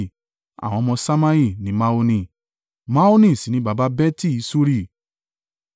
Àwọn ọmọ Ṣammai ni Maoni, Maoni sì ni baba Beti-Suri.